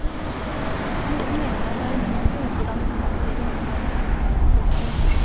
Noen mener at det er umulig å utdanne forfattere i det hele tatt. punktum